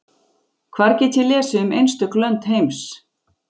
Hvar get ég lesið um einstök lönd heims?